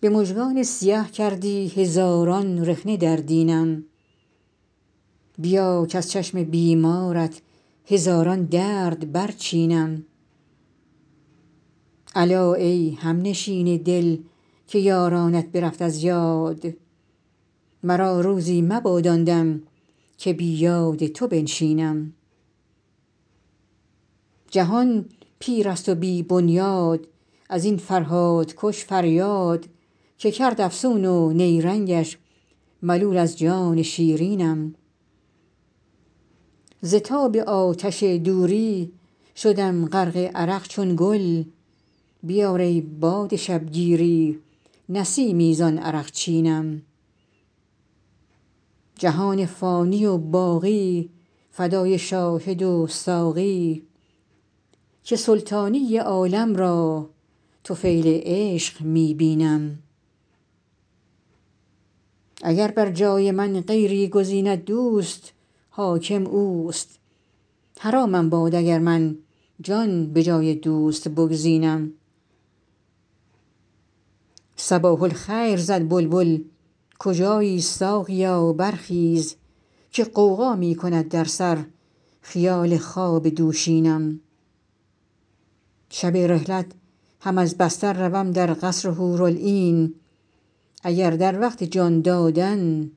به مژگان سیه کردی هزاران رخنه در دینم بیا کز چشم بیمارت هزاران درد برچینم الا ای همنشین دل که یارانت برفت از یاد مرا روزی مباد آن دم که بی یاد تو بنشینم جهان پیر است و بی بنیاد از این فرهادکش فریاد که کرد افسون و نیرنگش ملول از جان شیرینم ز تاب آتش دوری شدم غرق عرق چون گل بیار ای باد شبگیری نسیمی زان عرقچینم جهان فانی و باقی فدای شاهد و ساقی که سلطانی عالم را طفیل عشق می بینم اگر بر جای من غیری گزیند دوست حاکم اوست حرامم باد اگر من جان به جای دوست بگزینم صباح الخیر زد بلبل کجایی ساقیا برخیز که غوغا می کند در سر خیال خواب دوشینم شب رحلت هم از بستر روم در قصر حورالعین اگر در وقت جان دادن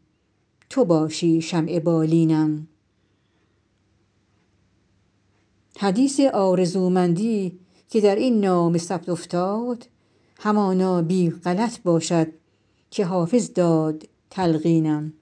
تو باشی شمع بالینم حدیث آرزومندی که در این نامه ثبت افتاد همانا بی غلط باشد که حافظ داد تلقینم